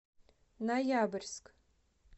ноябрьск